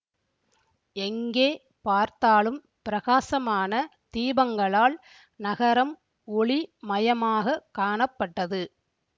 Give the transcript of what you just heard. எங்கே பார்த்தாலும் பிரகாசமான தீபங்களால் நகரம் ஒளி மயமாகக் காணப்பட்டது